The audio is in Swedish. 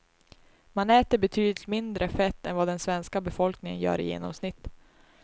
Man äter betydligt mindre fett än vad den svenska befolkningen gör i genomsnitt.